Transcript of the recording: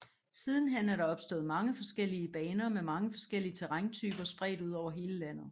Sidenhen er der opstået mange forskellige baner med mange forskellige terræntyper spredt ud over hele landet